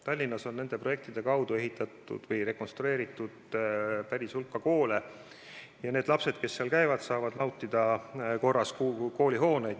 Tallinnas on nende abil ehitatud või rekonstrueeritud päris suur hulk koole ja need lapsed, kes seal käivad, saavad nautida korras koolihooneid.